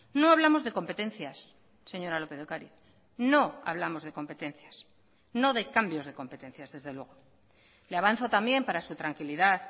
no hablamos de competencias señora lópez de ocariz no hablamos de competencias no de cambios de competencias desde luego le avanzo también para su tranquilidad